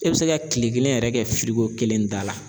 E bɛ se ka kile kelen yɛrɛ kɛ kelen da la